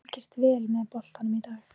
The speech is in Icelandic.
Þú fylgist vel með boltanum í dag?